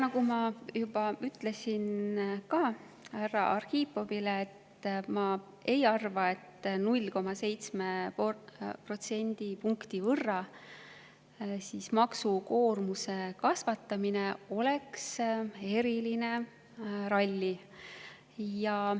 Nagu ma juba ütlesin härra Arhipovile, ma ei arva, et 0,7 protsendipunkti võrra maksukoormuse kasvatamine oleks eriline ralli.